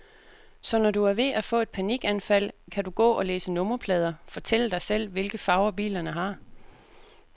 Så når du er ved at få et panikanfald, kan du gå og læse nummerplader, fortælle dig selv, hvilke farver bilerne har.